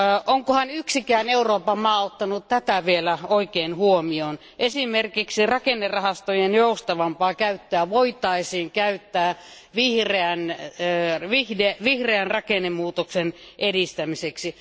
Onkohan yksikään Euroopan maa ottanut tätä vielä huomioon? Esimerkiksi rakennerahastojen joustavampaa käyttöä voitaisiin käyttää vihreän rakennemuutoksen edistämiseksi.